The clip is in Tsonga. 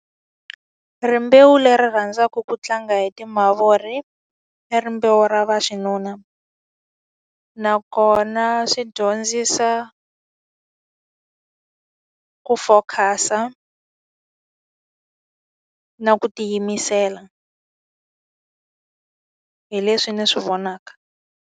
Rimbewu leri rhandzaka ku tlanga hi timavuri, i rimbewu ra vaxinuna. Nakona swi dyondzisa ku focus-a na ku tiyimisela. Hi leswi ndzi swi vonaka.